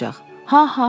Ha ha ha.